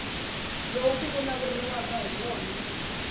lowu ku vulavuriwaka hi wona